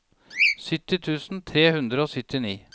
sytti tusen tre hundre og syttini